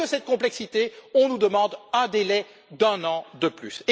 À cause de cette complexité, on nous demande un délai d'un an de plus.